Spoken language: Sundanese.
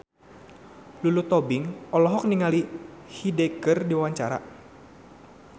Lulu Tobing olohok ningali Hyde keur diwawancara